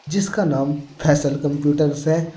जिसका नाम फैजल कंप्यूटर्स है।